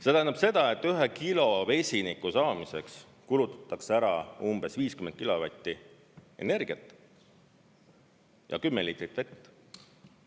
See tähendab seda, et 1 kilo vesiniku saamiseks kulutatakse ära umbes 50 kilovatti energiat ja 10 liitrit vett.